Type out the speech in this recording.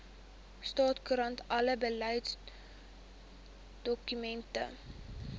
staatskoerant alle beleidsdokumente